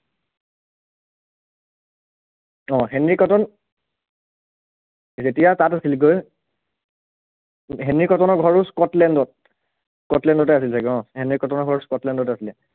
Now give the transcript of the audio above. অ Henry Cotton যেতিয়া তাত আছিলগৈ হেনৰি কটনৰ ঘৰো স্কটলেন্ডত, স্কটলেন্ডতে আছিল চাগে অ হেনৰি কটনৰ ঘৰ স্কটলেন্ডতে আছিলে